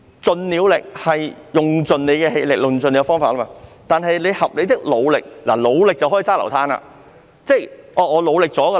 "盡了力"是用盡氣力和方法，但"合理的努力"可以是未盡全力。